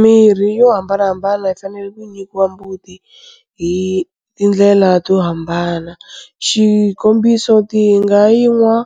Mirhi yo hambanahambana yi fanele ku nyikiwa mbuti hi tindlela to hambana, xikombiso, ti nga yi nwa